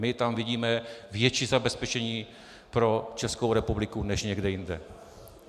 My tam vidíme větší zabezpečení pro Českou republiku než někde jinde.